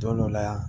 Don dɔ la yan